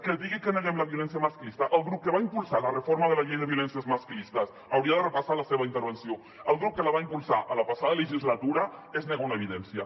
que digui que neguem la violència masclista al grup que va impulsar la reforma de la llei de violències masclistes hauria de repassar la seva intervenció al grup que la va impulsar la passada legislatura és negar una evidència